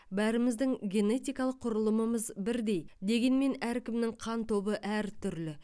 бәріміздің генетикалық құрылымымыз бірдей дегенмен әркімнің қан тобы әртүрлі